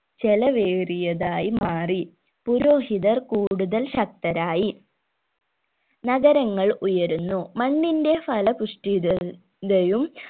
ചെലവേറിയതായി മാറി പുരോഹിതർ കൂടുതൽ ശക്തരായി നഗരങ്ങൾ ഉയരുന്നു മണ്ണിന്റെ ഫല പുഷ്ടിത തയും